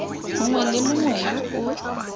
mongwe le mongwe yo o